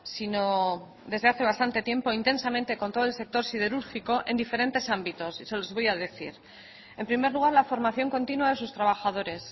sino desde hace bastante tiempo intensamente con todo el sector siderúrgico en diferentes ámbitos y se los voy a decir en primer lugar la formación continua de sus trabajadores